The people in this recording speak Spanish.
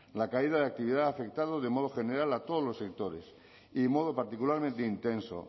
la caída de actividad ha afectado de modo general a todos los sectores y de modo particularmente intenso